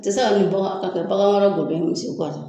Ti se ka nin bagan ka kɛ bagan wɛrɛ golo ye misi kɔ sa